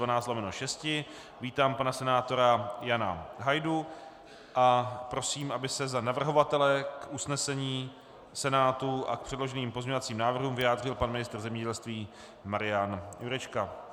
Vítám pana senátora Jana Hajdu a prosím, aby se za navrhovatele k usnesení Senátu a k předloženým pozměňovacím návrhům vyjádřil pan ministr zemědělství Marian Jurečka.